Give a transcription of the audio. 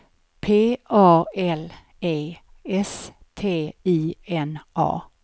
P A L E S T I N A